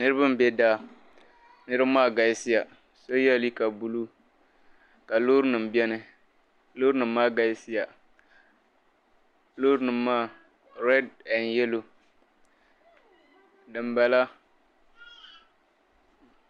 Niriba m-be daa niriba maa galisiya so yela liiga buluu ka loorinima beni loorinima maa galisiya loorinima maa redi n yelo dimbala.